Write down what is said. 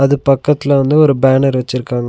இது பக்கத்ல வந்து ஒரு பேனர் வெச்சிருக்காங்க.